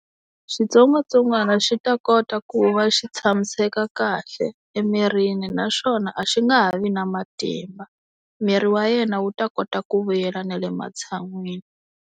Xitsongwatsongwana xi ta kota ku va xi tshamiseka kahle emirini naswona a xi nga ha vi na matimba. Miri wa yena wu ta kota ku vuyela na le matshan'wini.